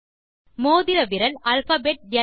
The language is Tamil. மோதிர விரல் அல்பாபெட் ல்